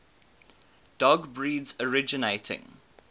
dog breeds originating